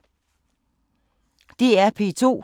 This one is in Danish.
DR P2